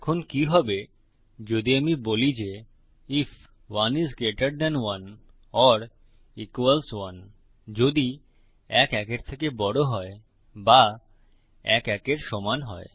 এখন কি হবে যদি আমি বলি যে আইএফ 1 আইএস গ্রেটের থান 1 ওর ইকুয়ালস 1 আইএফ ১ ১ এর থেকে বড় হয় বা ১ ১ এর সমান হয়